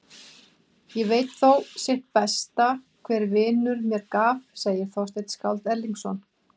Ég veit þó sitt besta hver vinur mér gaf, segir Þorsteinn skáld Erlingsson.